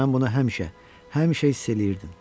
Mən bunu həmişə, həmişə hiss eləyirdim.